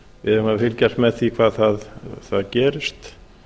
við eigum að fylgjast með því hvað þar gerist